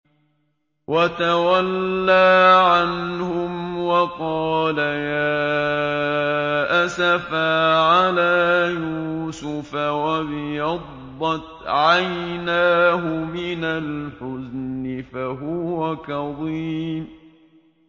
وَتَوَلَّىٰ عَنْهُمْ وَقَالَ يَا أَسَفَىٰ عَلَىٰ يُوسُفَ وَابْيَضَّتْ عَيْنَاهُ مِنَ الْحُزْنِ فَهُوَ كَظِيمٌ